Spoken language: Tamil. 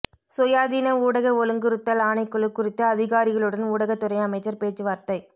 சுயாதீன ஊடக ஒழுங்குறுத்தல் ஆணைக்குழு குறித்து அதிகாரிகளுடன் ஊடகத்துறை அமைச்சர் பேச்சுவார்த்தை